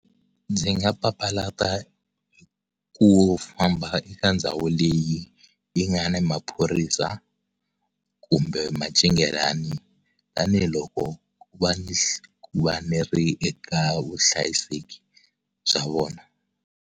Ndzi nga papalata ku famba eka ndhawu leyi yi nga na maphorisa kumbe macingelani tanihiloko va eka vuhlayiseki bya vona.